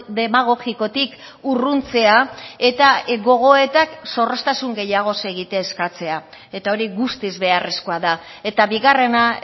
demagogikotik urruntzea eta gogoetak zorroztasun gehiagoz egitea eskatzea eta hori guztiz beharrezkoa da eta bigarrena